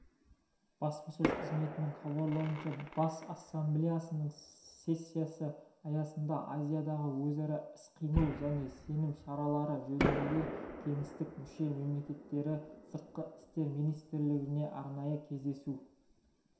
баспасөз қызметінің хабарлауынша бас ассамблеясының сессиясы аясында азиядағы өзара іс-қимыл және сенім шаралары жөніндегі кеңестің мүше-мемлекеттері сыртқы істер министрлерінің арнайы кездесуі